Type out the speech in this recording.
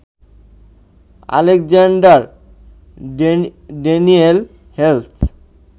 Alexander Daniel Hales